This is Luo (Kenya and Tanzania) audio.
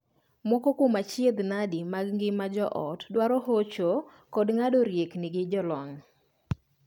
Moko kuom achiedhnade mag ngima joot dwaro hocho kod ng'ado riekni gi jolony.